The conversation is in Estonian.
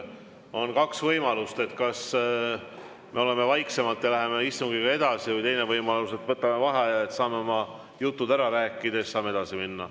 On kaks võimalust: kas me oleme vaiksemalt ja läheme istungiga edasi või teine võimalus, et võtame vaheaja, saame oma jutud ära rääkida ja siis saame edasi minna.